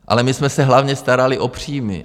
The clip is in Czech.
Ale my jsme se hlavně starali o příjmy.